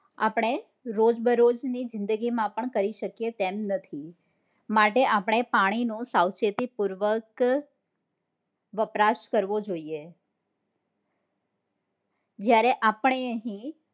આપણે રોજબરોજ ની જિંદગીમાં પણ કરી શકીએ તેમ નથી, માટે આપણે પાણી નો સાવચેતી પૂર્વક વપરાશ કરવો જોઈએ જયારે આપણે